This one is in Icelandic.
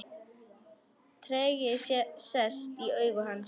Tregi sest í augu hans.